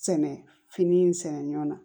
Sɛnɛ fini in sɛnɛ ɲɔ na